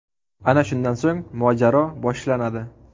Ana shundan so‘ng mojaro boshlanadi.